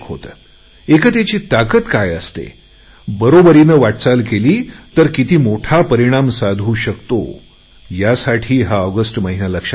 एकतेची ताकद काय असते बरोबरीने साथीने वाटचाल केली तर किती मोठा परिणाम साधू शकतो यासाठी हा ऑगस्ट महिना लक्षात राहील